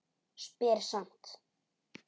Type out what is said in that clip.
Spyr samt.